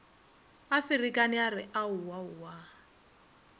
a ferekane a re aowaowa